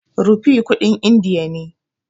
Rupee kuɗin indiya ne.